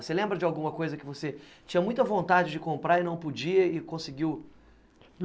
Você lembra de alguma coisa que você tinha muita vontade de comprar e não podia e conseguiu?